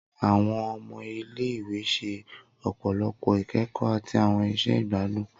Awọn ọmọ ile-iwe ṣe ọpọlọpọ ikẹkọ ati awọn iṣẹ igbadun.